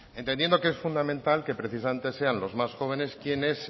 entendiendo que es fundamental que precisamente sean los más jóvenes quienes